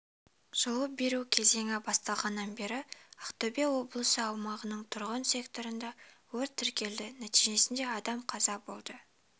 жылу беру кезеңі басталғаннан бері ақтөбе облысы аумағының тұрғын секторында өрт тіркелді нәтижесінде адам қаза болды